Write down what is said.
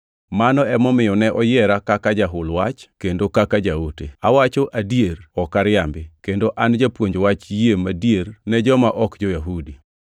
Mano emomiyo ne oyiera kaka jahul wach kendo kaka jaote. Awacho adier, ok ariambi, kendo an japuonj wach yie madier ne joma ok jo-Yahudi.